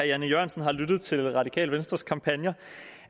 jan e jørgensen har lyttet til radikale venstres kampagner